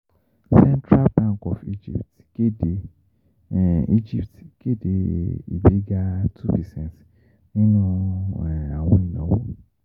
Central Bank of Egypt kéde Egypt kéde ìgbéga two percent nínú àwọn ìnáwó